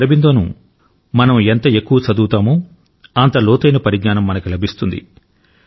శ్రీ అరబిందోను మనం ఎంత ఎక్కువ చదువుతామో అంత లోతైన పరిజ్ఞానం మనకు లభిస్తుంది